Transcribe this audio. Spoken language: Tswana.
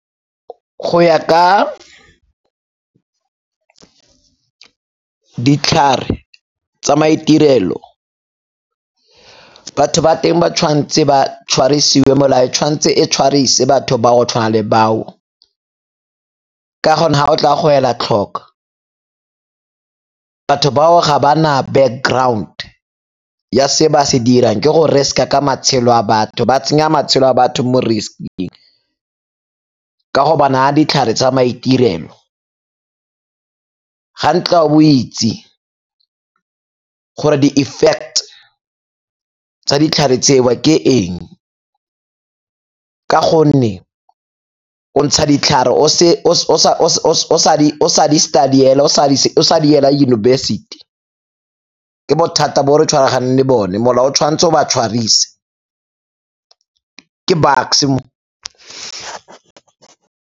Go ya ka ditlhare tsa maitirelo, batho ba teng ba tshwanetse ba tshwarisiwe, molao tshwanetse e tshwarise batho ba go tshwana le bao ka gonne ga o tla go ela tlhoko batho ba o ga ba na background ya se ba se dirang, ke go risk-a ka matshelo a batho, ba tsenya matshelo a batho mo risk-ing ka go ba naya ditlhare tsa maitirelo. Ga ntle o a bo o itse gore di-effect tsa ditlhare tseo ke eng ka gonne o ntsha ditlhare o sa di-study-ela, o sa di ela yunibesithi ke bothata bo re tshwaragane le bone, molao o tshwanetse o ba tshwarise, ke Bucks-e mo.